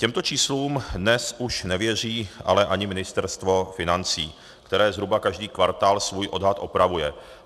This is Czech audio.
Těmto číslům dnes už nevěří ale ani Ministerstvo financí, které zhruba každý kvartál svůj odhad opravuje.